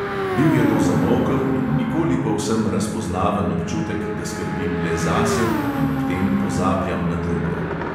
Bil je to zamolkel in nikoli povsem razpoznaven občutek, da skrbim le zase in ob tem pozabljam na druge.